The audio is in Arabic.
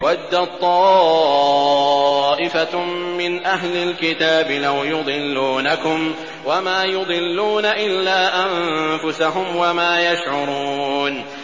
وَدَّت طَّائِفَةٌ مِّنْ أَهْلِ الْكِتَابِ لَوْ يُضِلُّونَكُمْ وَمَا يُضِلُّونَ إِلَّا أَنفُسَهُمْ وَمَا يَشْعُرُونَ